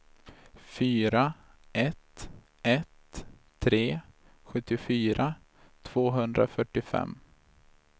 fyra ett ett tre sjuttiofyra tvåhundrafyrtiofem